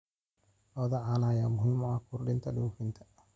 Lo'da caanaha ayaa muhiim u ah kordhinta dhoofinta.